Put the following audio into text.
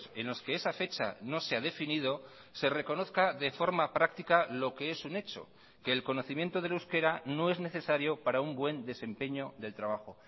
en los que esa fecha no se ha definido se reconozca de forma práctica lo que es un hecho que el conocimiento del euskera no es necesario para un buen desempeño del trabajo